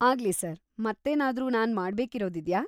ಆಗ್ಲಿ ಸರ್, ಮತ್ತೇನಾದ್ರೂ ನಾನ್ ಮಾಡ್ಬೇಕಿರೋದಿದ್ಯಾ?